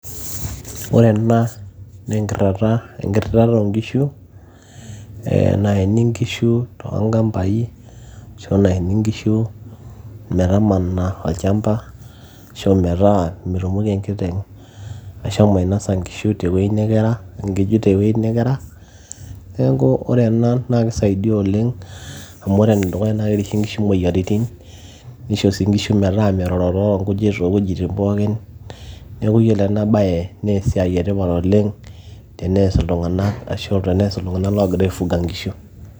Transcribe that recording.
ore ena naa enkirritata oonkishu naeni inkishu toonkampai ashu naeni inkishu metamana olchamba ashu metaa metumoki enkiteng ashomo ainosa nkujit tewueji nekera neeku ore ena naa kisaidia oleng amu ore enedukuya naa kerishe inkishu moyiaritin nisho sii inkishu metaa merorororo nkujit towuejitinn pookin neeku yiolo ena baye naa esiai etipat oleng tenees iltung'anak ashu tenees iltung'anak loogira aifuga inkishu.